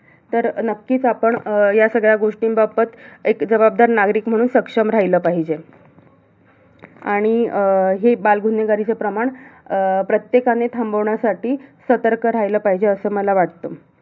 तर नक्कीच आपण, या सगळ्यांबाबत एक जबाबदार नागरिक म्हणून सक्षम राहिलं पाहिजे. आणि हे अं बालगुन्हेगारीचं प्रमाण अं प्रत्येकाने थांबवण्यासाठी सतर्क राहिलं पाहिजे, असं मला वाटतं.